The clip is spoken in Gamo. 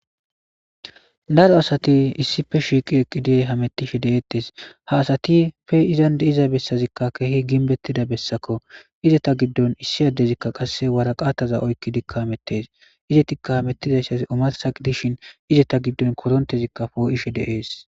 daro asati issife shiiqi eqqidey hamettishe de7eettes ha asati pe izan de iza bessazikka keehi ginbettida bessakko izeta giddon issi addezikka qasse waraqataza oykki dikka hamettees izetikka hamettidassaz omasa dishin izeta giddon korontezikka poo7ishe deees